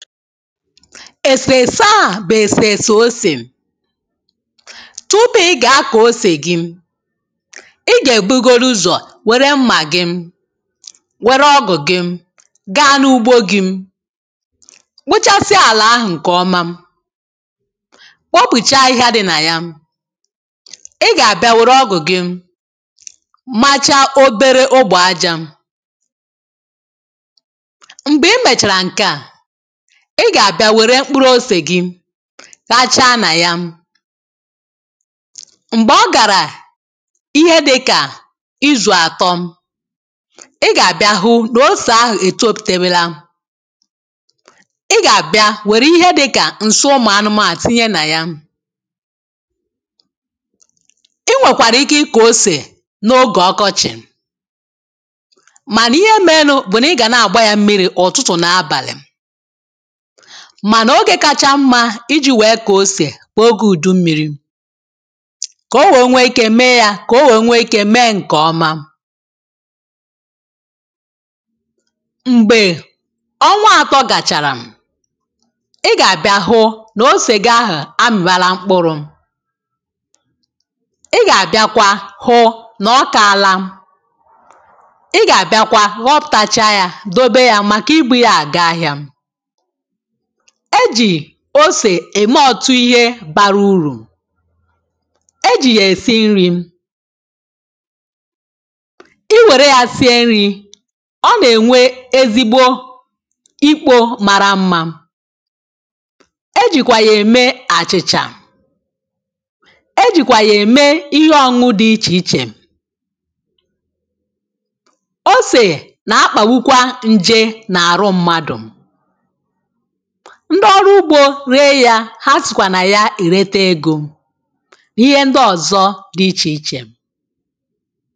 èsèèsè a bụ̀ èsèèsè osè.tupu ị gà-akọ̀ osè gị ị gà-èbugodu ụzọ̀ wère mmà gị wère ọgụ̀ gị gaa n’ugbo gị̇ umkpochasia àlà ahụ̀ ǹkèọma kpopùchaa ahịhịa dị̇ nà ya ị gà-àbịa wère ọgụ̀ gị macha obere ogbè ajȧ m̀gbè i mèchàrà ǹke à ị gà àbịa wère mkpụrụ̇ osè gị ghachaà nà ya m̀gbè ọ gàrà ihe dịkà izù àtọ. ị gà àbịa hụ nà osè ahụ̀ ètoputewela i gà àbịa wère ihe dịkà ǹsị ụmụ̀ anụmȧ tinye nà ya.i nwèkwàrà ike ịkọ osè n’ogè ọkọchị̀ mànà ihe mere nụ bù nà ị gà na-àgba yȧ mmiri̇ ụ̀tụtụ̀ nà abàlị̀.mà n’ogė kacha mmȧ iji̇ wèe kà osè kà ogė ùdu mmiri̇.kà o wèe nwee ikė mee yȧ kà o wèe nwee ikė mee ǹkè ọma[paues]m̀gbè ọnwa atọ gàchàrà ị gàbịa hụ nà ose gị ahụ̀ amị̀bara mkpụrụ ị gàbị̀akwa hụ nà ọkaala ị gàbị̀akwa ghọpụ̀tacha yȧ dobe ya màkà ibu̇ ya àga ahịȧ.e jì osè ème otu ihe bara urù,e jì yà èsi nri̇,i wère yȧ sie nri̇ ọ nà-ènwe ezigbo ikpo mara mmȧ. e jìkwà yà ème àchị̇chà e jìkwà yà ème ihe ọṅụ̇ ọṅụ dị ichè ichè. osè nà-akpàgbukwa ǹje nà-àrụ mmadụ̀ ndị ọrụ ugbo re ya ha sịkwa na ya ereta ego ihe ndị ọzọ dị iche iche.